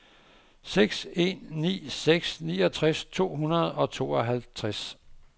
seks en ni seks niogtres to hundrede og tooghalvtreds